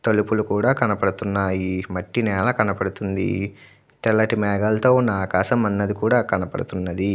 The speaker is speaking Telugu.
తలుపులు కూడా కనపడుతున్నాయి. మట్టి నేల కనపడుతుంది. తెల్లటి మేఘాలతో ఉన్న ఆకాశం కూడా కనపడుతున్నది.